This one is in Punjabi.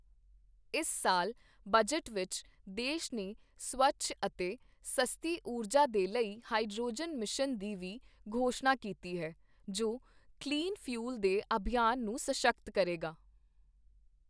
ਇਸ ਸਾਲ ਬਜਟ ਵਿੱਚ ਦੇਸ਼ ਨੇ ਸਵੱਛ ਅਤੇ ਸਸਤੀ ਊਰਜਾ ਦੇ ਲਈ ਹਾਈਡ੍ਰੋਜਨ ਮਿਸ਼ਨ ਦੀ ਵੀ ਘੋਸ਼ਣਾ ਕੀਤੀ ਹੈ, ਜੋ ਕਲੀਨ ਫਿਊਲ ਦੇ ਅਭਿਯਾਨ ਨੂੰ ਸਸ਼ਕਤ ਕਰੇਗਾ।